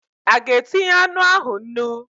A ga-etinye anụ ahụ nnu?